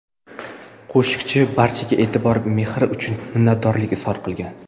Qo‘shiqchi barchaga e’tibor va mehr uchun minnatdorlik izhor qilgan.